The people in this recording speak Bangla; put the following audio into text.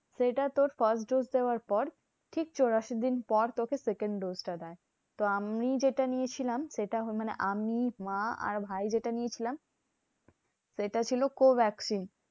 সেটা তোর first dose দেওয়ার পর ঠিক চুরাশি দিন পর তোকে second dose টা দেয়। তো আমি যেটা নিয়েছিলাম সেটা মানে আমি, মা আর ভাই যেটা নিয়েছিলাম, সেটা ছিল co vaccine.